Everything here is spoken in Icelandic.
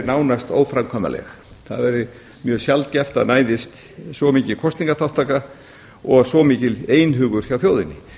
nánast óframkvæmanleg það væri mjög sjaldgæft að það næðist svo mikil kosningaþátttaka og svo mikill einhugur hjá þjóðinni